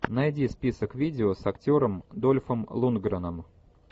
найди список видео с актером дольфом лундгреном